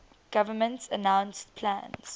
government announced plans